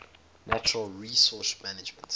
natural resource management